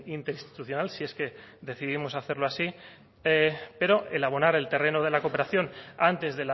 interinstitucional si es que decidimos hacerlo así pero el abonar el terreno de la cooperación antes